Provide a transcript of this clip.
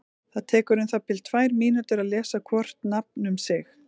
Það tekur um það bil tvær mínútur að lesa hvort nafn um sig.